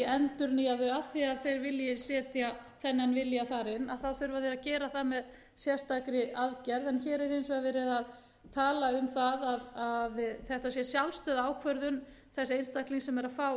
endurnýja þau af því að þeir vilji setja þennan vilja þar inn að þá þurfa þeir að gera það með sérstakri aðgerð hér er hins vegar verið að tala um að þetta sé sjálfstæð ákvörðun þess einstaklings sem er að